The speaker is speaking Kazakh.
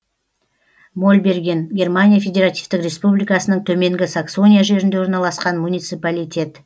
мольберген германия федеративтік республикасының төменгі саксония жерінде орналасқан муниципалитет